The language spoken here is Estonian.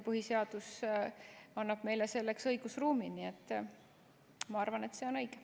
Põhiseadus annab meile selleks õigusruumi, nii et ma arvan, et see on õige.